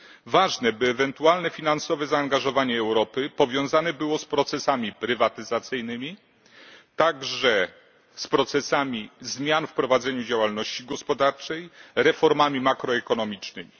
Ważne, by ewentualne finansowe zaangażowanie Europy powiązane było z procesami prywatyzacyjnymi także z procesami zmian w prowadzeniu działalności gospodarczej, reformami makroekonomicznymi.